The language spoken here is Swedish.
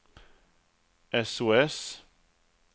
sos